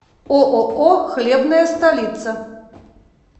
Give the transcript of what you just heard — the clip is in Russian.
ооо хлебная столица